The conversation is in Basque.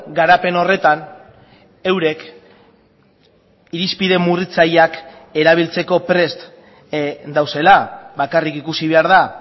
garapen horretan eurek irizpide murritzaileak erabiltzeko prest daudela bakarrik ikusi behar da